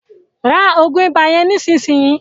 rá oògùn ibà yén nísìsiyìí!